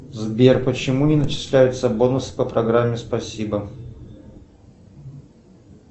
сбер почему не начисляются бонусы по программе спасибо